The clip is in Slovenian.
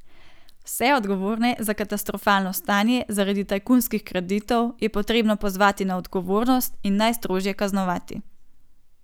Vse odgovorne za katastrofalno stanje, zaradi tajkunskih kreditov, je potrebno pozvati na odgovornost in najstrožje kaznovati.